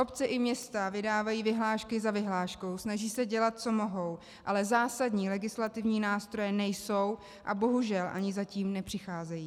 Obce i města vydávají vyhlášky za vyhláškou, snaží se dělat co mohou, ale zásadní legislativní nástroje nejsou a bohužel ani zatím nepřicházejí.